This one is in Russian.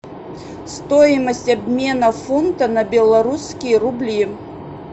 стоимость обмена фунта на белорусские рубли